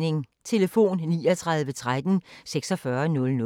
Telefon: 39 13 46 00